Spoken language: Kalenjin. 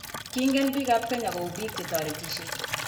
Kingen biik ab kenya kou biik che toretishe.